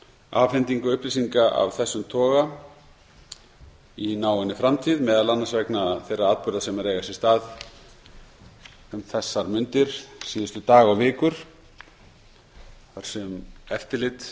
afhendingu upplýsinga af þessum toga í náinni framtíð meðal annars vegna þeirra atburða sem eru að eiga sér stað um þessar mundir síðustu daga og vikur þar sem eftirlit